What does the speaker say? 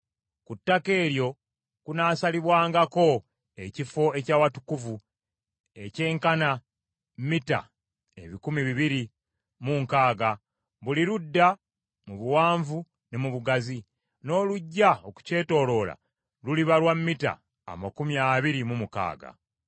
Ku ttaka eryo kunaasalibwangako ekifo eky’Awatukuvu ekyenkana mita ebikumi bibiri mu nkaaga buli ludda mu buwanvu ne mu bugazi, n’oluggya okukyetooloola luliba lwa mita amakumi abiri mu mukaaga.